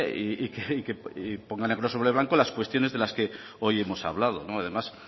y que ponga negro sobre blanco las cuestiones de las que hoy hemos hablado además